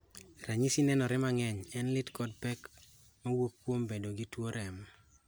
Ranyisi nenore mang�eny en lit kod pek ma wuok kuom bedo gi tuo remo.